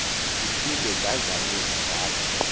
ndiphinde ndazamisa ndaza